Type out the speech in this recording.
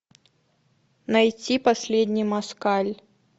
найти последний москаль